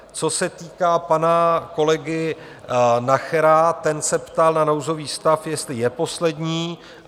Co se týká pana kolegy Nachera, ten se ptal na nouzový stav, jestli je poslední.